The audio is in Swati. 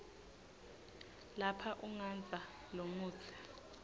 lapha ugandza lomutsi